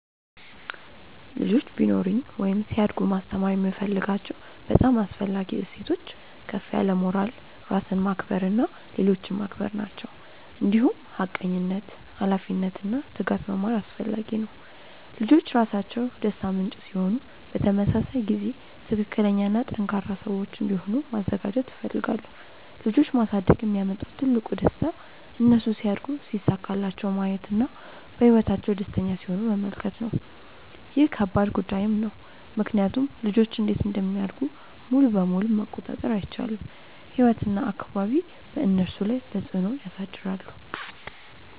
ልጆች ቢኖሩኝ ወይም ሲያድጉ ማስተማር የምፈልጋቸው በጣም አስፈላጊ እሴቶች ከፍ ያለ ሞራል፣ ራስን ማክበር እና ሌሎችን ማክበር ናቸው። እንዲሁም ሐቀኝነት፣ ኃላፊነት እና ትጋት መማር አስፈላጊ ነው። ልጆች ራሳቸው ደስታ ምንጭ ሲሆኑ በተመሳሳይ ጊዜ ትክክለኛ እና ጠንካራ ሰዎች እንዲሆኑ ማዘጋጀት እፈልጋለሁ። ልጆች ማሳደግ የሚያመጣው ትልቁ ደስታ እነሱ ሲያድጉ ሲሳካላቸው ማየት እና በህይወታቸው ደስተኛ ሲሆኑ መመልከት ነው። ይህ ከባድ ጉዳይም ነው ምክንያቱም ልጆች እንዴት እንደሚያድጉ ሙሉ በሙሉ መቆጣጠር አይቻልም፤ ህይወት እና አካባቢ በእነሱ ላይ ተፅዕኖ ያሳድራሉ።